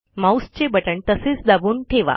माऊसचे बटण तसेच दाबून ठेवा